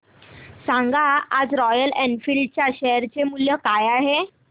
सांगा आज Royal Enfield च्या शेअर चे मूल्य काय आहे